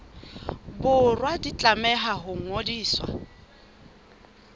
borwa di tlameha ho ngodiswa